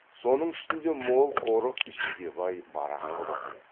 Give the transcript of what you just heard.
соның үстінде мол қорық жидебай барақ болатын